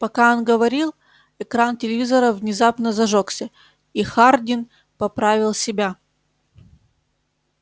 пока он говорил экран телевизора внезапно зажёгся и хардин поправил себя